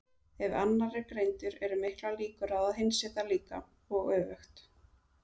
Ef annar er greindur eru miklar líkur á að hinn sé það líka, og öfugt.